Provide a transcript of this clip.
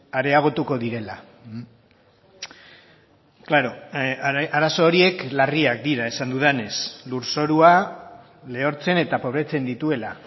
areagotuko direla klaro arazo horiek larriak dira esan dudanez lurzorua lehortzen eta pobretzen dituela